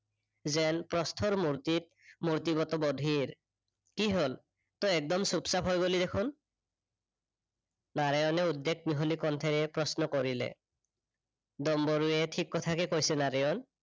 যেন প্ৰস্তৰ মুৰ্তিত, মুৰ্তিৰ গতে বধীৰ। কি হল তই একদম চুপচাপ হৈ গলি দেখোন? নাৰায়নে উদ্বেগ মিহলি কণ্ঠৰে প্ৰশ্ন কৰিলে ডম্বৰুৱে ঠিক কথাকে কৈছে নাৰায়ন